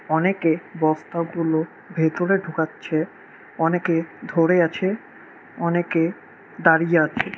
অনেকে বস্তাগুলো ভেতরে ঢুকাচ্ছে অনেকে ধরে আছে অনেকে দাঁড়িয়ে আছে।